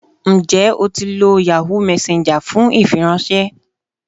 Njẹ o ti lo Yahoo Messenger fun ifiranṣẹ